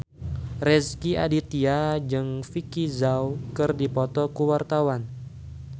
Rezky Aditya jeung Vicki Zao keur dipoto ku wartawan